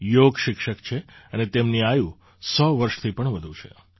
યોગ શિક્ષક છે અને તેમની આયુ ૧૦૦ વર્ષથી પણ વધુ છે